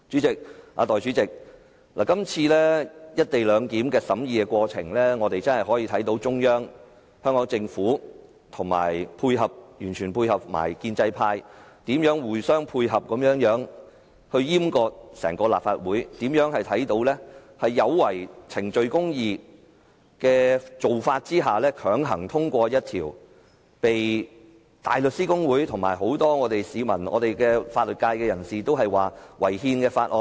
代理主席，《條例草案》的審議過程，亦讓我們看到中央、香港政府和完全聽命的建制派，如何互相配合，一同閹割整個立法會，也看到他們如何在違反程序公義之下，強行通過一項被香港大律師公會、很多市民和法律界人士認為屬違憲的法案。